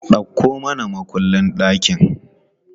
Dauko mana mukullin ɗakin!